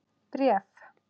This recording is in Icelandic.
Bréf?